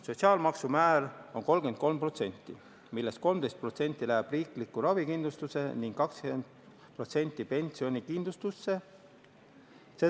Sotsiaalmaksu määr on 33%, millest 13% läheb riiklikku ravikindlustusse ning 20% pensionikindlustusse.